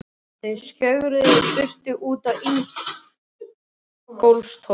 Þau skjögruðu í burtu út á Ingólfstorg.